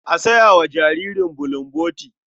A saya wa jariri bulomboti.